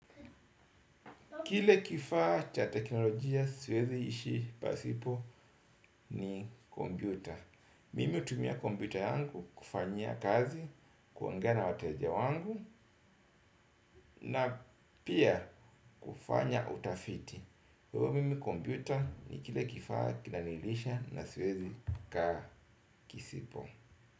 Kile kifaa cha teknolojia, siwezi ishi pasipo ni kompyuta. Mimi hutumia kompyuta yangu kufanyia kazi, kuongea na wateja wangu na pia kufanya utafiti. Kwa hivyo mimi kompyuta ni kile kifaa kinanilisha na siwezi kaa kisipo.